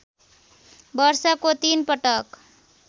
वर्षको ३ पटक